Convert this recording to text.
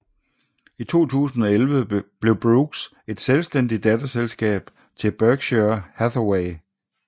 I 2011 blev Brooks et selvstændigt datterselskab til Berkshire Hathaway